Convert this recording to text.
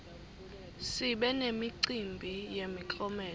sibe nemicimbi yemiklomelo